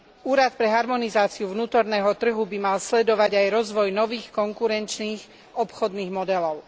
Úrad pre harmonizáciu vnútorného trhu by mal sledovať aj rozvoj nových konkurenčných obchodných modelov.